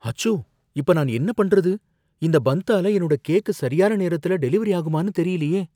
அச்சோ! இப்ப நான் என்ன பண்றது! இந்த பந்த்தால என்னோட கேக் சரியான நேரத்துல டெலிவெரி ஆகுமான்னு தெரியலயே.